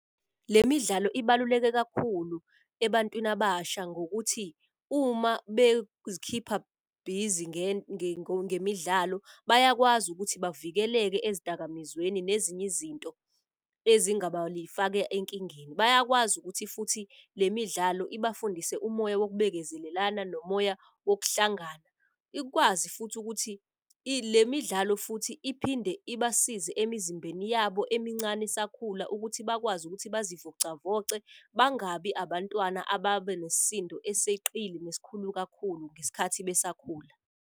Le midlalo ibaluleke kakhulu ebantwini abasha ngokuthi uma ngemidlalo. Bayakwazi ukuthi bavikeleke ezidakamizweni nezinye izinto ezingaba lifaka enkingeni. Bayakwazi ukuthi futhi le midlalo ibafundise umoya wobekezelelana nomoya wokuhlangana. Ikwazi futhi ukuthi le midlalo futhi iphinde ibasize emizimbeni yabo emincane esakhula ukuthi bakwazi ukuthi bazivocavoce. Bangabi abantwana ababenesisindo eseqedile nesikhulu kakhulu ngesikhathi besakhula.